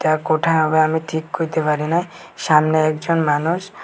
এটা কোথায় হবে আমি ঠিক কইতে পারি না সামনে একজন মানুষ--